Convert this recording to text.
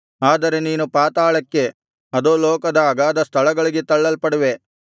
ಆದರೆ ನೀನು ಪಾತಾಳಕ್ಕೆ ಅಧೋಲೋಕದ ಅಗಾಧ ಸ್ಥಳಗಳಿಗೆ ತಳ್ಳಲ್ಪಡುವೆ